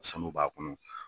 Sanu b'a kɔnɔ.